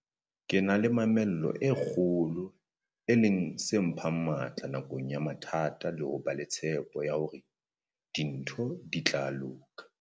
Ke na le mamello e kgolo, e leng se mphang matla nakong ya mathata le ho ba le tshpo ya hore dintho di tla loka.